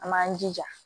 An b'an jija